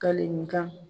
Kali ni kan